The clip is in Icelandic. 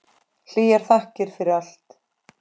Hlýjar þakkir fyrir allt.